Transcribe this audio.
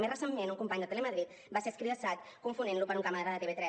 i més recentment un company de telemadrid va ser escridassat confonent lo per un càmera de tv3